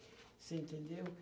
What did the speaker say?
Você entendeu?